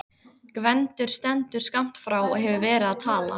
Gvendur stendur skammt frá og hefur verið að tala.